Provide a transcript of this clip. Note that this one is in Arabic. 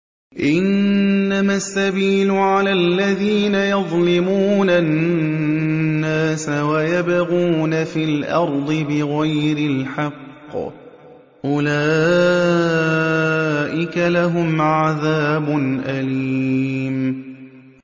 إِنَّمَا السَّبِيلُ عَلَى الَّذِينَ يَظْلِمُونَ النَّاسَ وَيَبْغُونَ فِي الْأَرْضِ بِغَيْرِ الْحَقِّ ۚ أُولَٰئِكَ لَهُمْ عَذَابٌ أَلِيمٌ